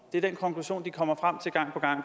det er den konklusion de kommer frem til gang på gang